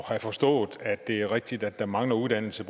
have forstået at det er rigtigt at der mangler uddannelse